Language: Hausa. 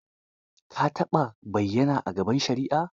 Ka taɓa bayyana a gaban shari'a?